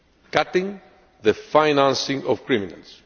cutting the financing of criminals.